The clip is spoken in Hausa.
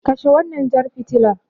Kashe wannan jar fitilar.